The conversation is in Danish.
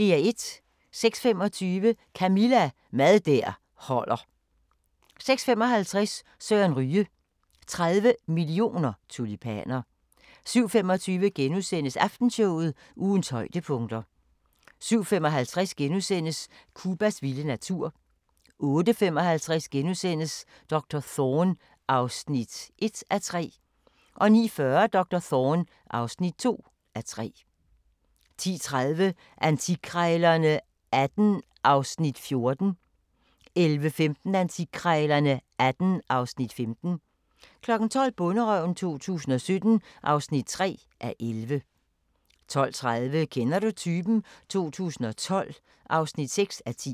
06:25: Camilla – Mad der holder (4:8) 06:55: Søren Ryge: 30 mio. tulipaner 07:25: Aftenshowet – ugens højdepunkter * 07:55: Cubas vilde natur * 08:55: Doktor Thorne (1:3)* 09:40: Doktor Thorne (2:3) 10:30: Antikkrejlerne XVIII (Afs. 14) 11:15: Antikkrejlerne XVIII (Afs. 15) 12:00: Bonderøven 2017 (3:11) 12:30: Kender du typen? 2012 (6:10)